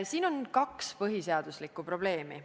Siin on nüüd kaks põhiseaduslikkuse probleemi.